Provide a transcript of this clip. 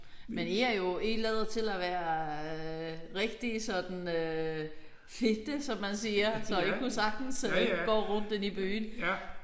Men I er jo I lader til at være rigtig sådan øh fitte som man siger. Så I kunne sagtens gå rundt inde i byen